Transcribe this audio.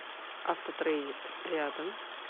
автотрейд рядом